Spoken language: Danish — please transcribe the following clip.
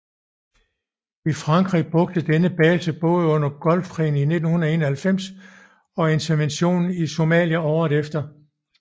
Frankrig brugte denne base både under Gulfkrigen i 1991 og interventionen i Somalia året efter